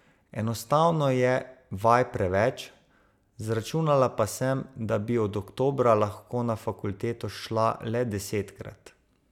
Enostavno je vaj preveč, zračunala pa sem, da bi od oktobra lahko na fakulteto šla le desetkrat.